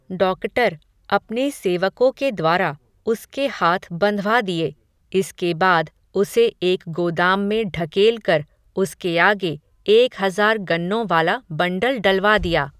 doctor, अपने सेवको के द्वारा, उसके हाथ बंधवा दिये, इसके बाद, उसे एक गोदाम में ढकेल कर, उसके आगे, एक हज़ार गन्नों वाला बंडल डलवा दिया